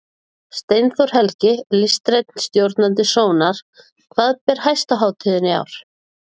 Steinþór Helgi, listrænn stjórnandi Sónar, hvað ber hæst á hátíðinni í ár?